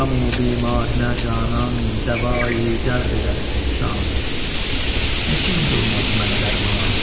Qəmü bimarınə canan dəva-i dərd edər ehsan, Neçin qılmaz mənə dərman?